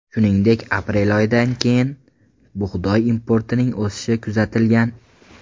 Shuningdek, aprel oyidan keyin bug‘doy importining o‘sishi kuzatilgan.